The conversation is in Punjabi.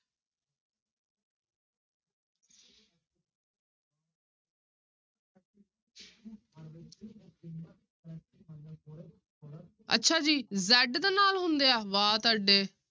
ਅੱਛਾ ਜੀ z ਦੇ ਨਾਲ ਹੁੰਦੇ ਆ ਵਾਹ ਤੁਹਾਡੇ।